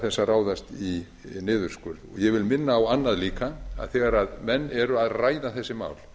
að ráðast í niðurskurð ég vil minna á annað líka þegar menn eru að ræða þessi mál